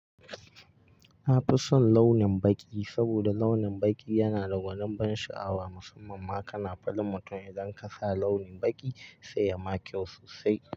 Na fi son launin baƙi saboda launin baƙi yana da gwanin ban sha'awa musamman ma kana farin mutun idan ka sa launi baƙi sai ya ma kyau sosai.